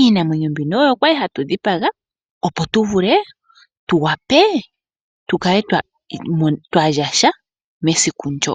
Iinamwenyo mbino oyo kwali ha tu dhipaga opo tu vule tu wape tukale twa lya sha mesiku ndoka.